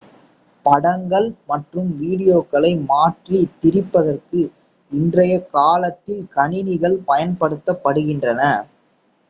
படங்கள் மற்றும் வீடியோக்களை மாற்றித் திரிப்பதற்கு இன்றைய காலத்தில் கணினிகள் பயன்படுத்தப்படுகின்றன